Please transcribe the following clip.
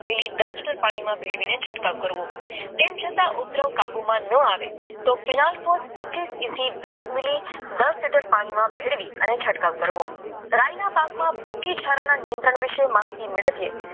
દસ લિટર પાણીમાં ભેળવીને છંટકાવ કરવો તેમ છતાં ન આવે તો તેમાં કેનાલ શોધ વીસ MM દસ લિટર પાણીમાં ભેળવી છંટકાવ કરવો રાયના પાકમાં નિયંત્રણ વિશે માહિતી મેળવી